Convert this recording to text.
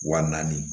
Wa naani